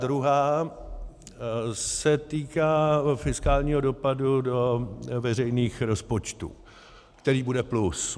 druhá se týká fiskálního dopadu do veřejných rozpočtů, který bude plus.